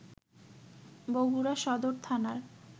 বগুড়া সদর থানার